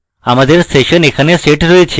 আমাদের session এখানে set রয়েছে